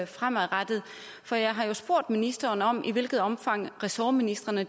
fremadrettet for jeg har jo spurgt ministeren om i hvilket omfang ressortministrene